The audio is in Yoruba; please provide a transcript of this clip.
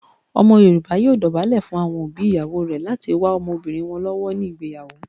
Omo yoruba yoo dobale fun awon obi iyawo re lati wa omobirin won lowo ni igbeyawo.